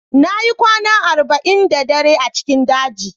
Na yi kwana arba'in da dare a cikin daji